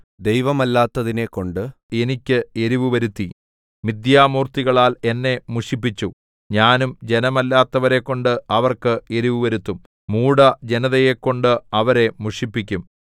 ദൈവമല്ലാത്തതിനെക്കൊണ്ട് എനിക്ക് എരിവുവരുത്തി മിത്ഥ്യാമൂർത്തികളാൽ എന്നെ മുഷിപ്പിച്ചു ഞാനും ജനമല്ലാത്തവരെക്കൊണ്ട് അവർക്ക് എരിവുവരുത്തും മൂഢജനതയെക്കൊണ്ട് അവരെ മുഷിപ്പിക്കും